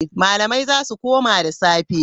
Malamai za su koma da safe.